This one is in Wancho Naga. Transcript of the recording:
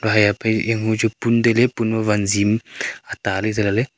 emo chu pun tailey pun ma wanji am ataley zela ley.